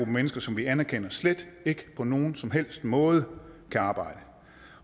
mennesker som vi anerkender slet ikke på nogen som helst måde kan arbejde